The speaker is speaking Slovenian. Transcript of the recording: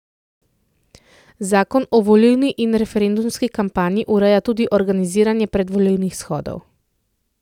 Zakon o volilni in referendumski kampanji ureja tudi organiziranje predvolilnih shodov.